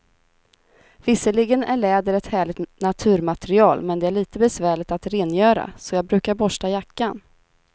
Visserligen är läder ett härligt naturmaterial, men det är lite besvärligt att rengöra, så jag brukar borsta jackan.